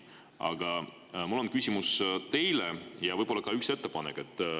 Aga mul on küsimus teile ja võib-olla ka üks ettepanek.